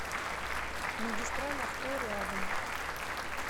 магистраль авто рядом